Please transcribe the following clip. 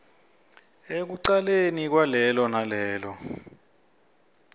ekucaleni kwalelo nalelo